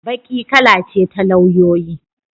Baƙi kala ce ta lauyoyi.